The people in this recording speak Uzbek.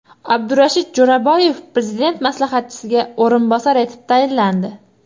Abdurashid Jo‘raboyev Prezident maslahatchisiga o‘rinbosar etib tayinlandi.